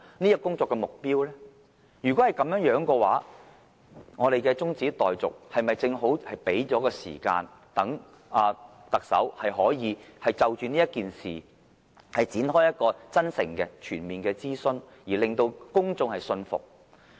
如果是這樣，立法會對這項議案中止待續，是否正好給予特首時間，讓她可以就這事件展開真誠的全面諮詢，從而令公眾信服。